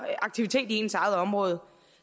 aktivitet i ens eget område